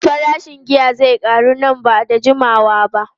Farashin giya zai karu nan ba da jimawa ba.